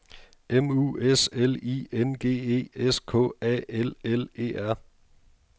M U S L I N G E S K A L L E R